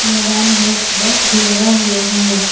मैदान में एक बस भी लगा हुआ है।